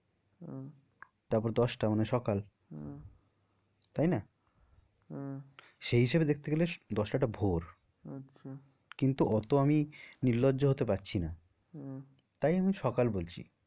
উম তারপর দশটা মানে সকাল আহ তাই না? আহ সেই হিসাবে দেখতে গেলে দশটাটা ভোর। আচ্ছা কিন্তু অত আমি নির্লজ্জ হতে পারছি না হম তাই আমি সকাল বলছি।